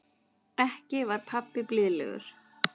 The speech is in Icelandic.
Ekki var pabbi blíðlegur.